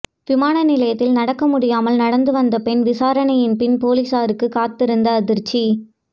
விமான நிலையத்தில் நடக்க முடியாமல் நடந்து வந்த பெண் விசாரனையின் பின் பொலிஸாருக்கு காத்திருந்த அதிர்ச்சி